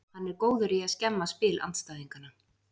Hann er góður í að skemma spil andstæðinganna.